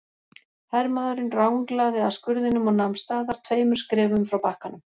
Hermaðurinn ranglaði að skurðinum og nam staðar tveimur skrefum frá bakkanum.